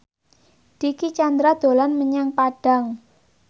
Dicky Chandra dolan menyang Padang